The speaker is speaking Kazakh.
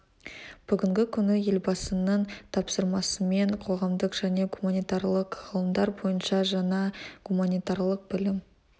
бүгінгі күні елбасының тапсырмасымен қоғамдық және гуманитарлық ғылымдар бойынша жаңа гуманитарлық білім